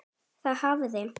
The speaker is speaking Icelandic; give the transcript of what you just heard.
Þá hafði